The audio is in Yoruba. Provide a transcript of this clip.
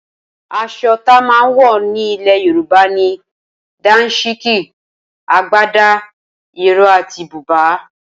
Aso tama wo ni ile yoruba ni; Dansiki, Agbada, Iro ati buba